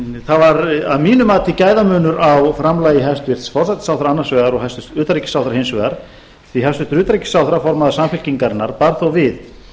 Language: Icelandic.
það var að mínu mati gæðamunur á framlagi hæstvirtur forsætisráðherra annars vegar og hæstvirtur utanríkisráðherra hins vegar því hæstvirtur utanríkisráðherra formaður samfylkingarinnar bar þó við